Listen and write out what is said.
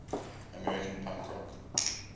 american punk rock